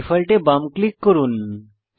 default এ বাম click করুন